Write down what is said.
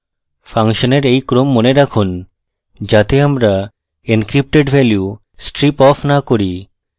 ফাংশনের এই ক্রম মনে রাখুন যাতে আমরা encrypted value striping off না করি